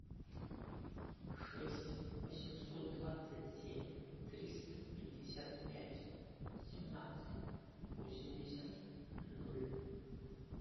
шесть восемьсот двадцать семь триста пятьдесят пять семнадцать восемьдесят ноль